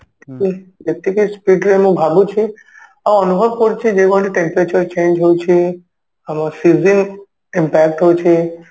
ଯେ ଯେତିକି speed ରେ ମୁଁ ଭାବୁଛି ଆଉ ଅନୁଭବ କରୁଛି ଯେଉଁଭଳି temperature change ହଉଛି ଆମ season impact ହଉଛି